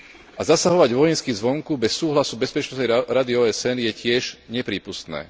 A zasahovať vojensky zvonku bez súhlasu Bezpečnostnej rady OSN je tiež neprípustné.